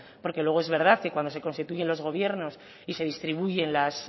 porque luego es verdad que cuando se constituyen los gobiernos y se distribuyen las